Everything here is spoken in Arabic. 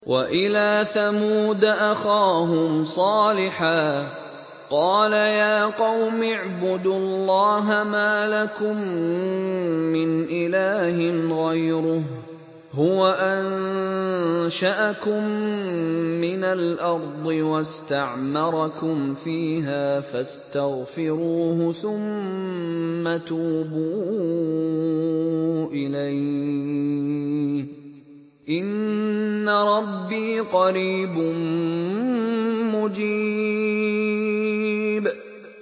۞ وَإِلَىٰ ثَمُودَ أَخَاهُمْ صَالِحًا ۚ قَالَ يَا قَوْمِ اعْبُدُوا اللَّهَ مَا لَكُم مِّنْ إِلَٰهٍ غَيْرُهُ ۖ هُوَ أَنشَأَكُم مِّنَ الْأَرْضِ وَاسْتَعْمَرَكُمْ فِيهَا فَاسْتَغْفِرُوهُ ثُمَّ تُوبُوا إِلَيْهِ ۚ إِنَّ رَبِّي قَرِيبٌ مُّجِيبٌ